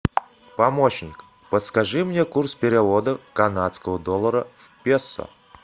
помощник подскажи мне курс перевода канадского доллара в песо